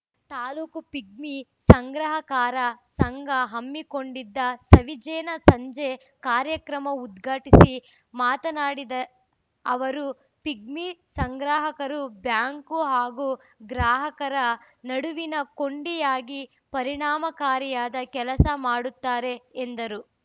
taluk pigmy ಸಂಗ್ರಹಕಾರರ ಸಂಘ ಹಮ್ಮಿಕೊಂಡಿದ್ದ ಸವಿಜೇನ ಸಂಜೆ ಕಾರ್ಯಕ್ರಮ ಉದ್ಘಾಟಿಸಿ ಮಾತನಾಡಿದ ಅವರು ಪಿಗ್ಮಿ ಸಂಗ್ರಾಹಕರು ಬ್ಯಾಂಕು ಹಾಗೂ ಗ್ರಾಹಕರ ನಡುವಿನ ಕೊಂಡಿಯಾಗಿ ಪರಿಣಾಮಕಾರಿಯಾದ ಕೆಲಸ ಮಾಡುತ್ತಾರೆ ಎಂದರು